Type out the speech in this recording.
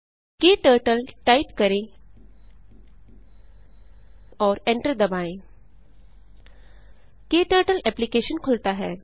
क्टर्टल type करें और enter दबाएँ क्टर्टल एप्लिकेशन खुलता है